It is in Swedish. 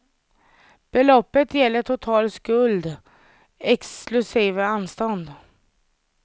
Beloppet gäller total skuld exklusive anstånd.